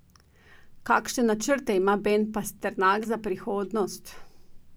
Kakšne načrte ima Ben Pasternak za prihodnost?